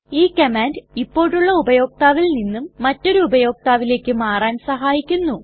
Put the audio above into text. ഈ കമാൻഡ് ഇപ്പോഴുള്ള ഉപയോക്താവിൽ നിന്നും മറ്റൊരു ഉപയോക്താവിലെക്ക് മാറാൻ സഹായിക്കുന്നു